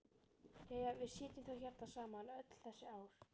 Jæja, við sitjum þá hérna saman eftir öll þessi ár.